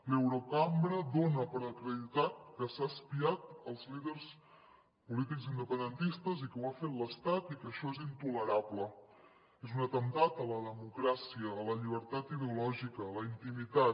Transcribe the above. l’eurocambra dona per acreditat que s’ha espiat els líders polítics independentistes i que ho ha fet l’estat i que això és intolerable és un atemptat a la democràcia a la llibertat ideològica a la intimitat